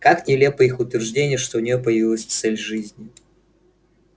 как нелепо их утверждение что у неё появилась цель жизни